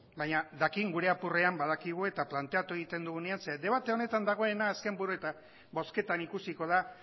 baina dakien gure apurrean badakigu eta planteatu egiten dugunean zeren debate honetan dagoena azken buru eta bozketan ikusiko da